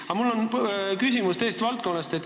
Aga mul on küsimus teisest valdkonnast.